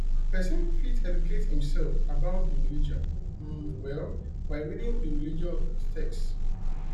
person fit educate im self about di religion um well by reading di religious text um